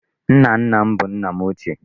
Nna nna m bụ nna m ochie.